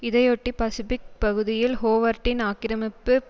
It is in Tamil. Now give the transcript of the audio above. இதையொட்டி பசிபிக் பகுதியில் ஹோவர்டின் ஆக்கிரமிப்பு